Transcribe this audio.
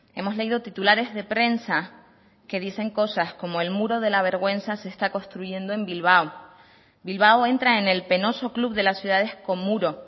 hemos leído titulares de prensa que dicen cosas como el muro de la vergüenza se está construyendo en bilbao bilbao entra en el penoso club de las ciudades con muro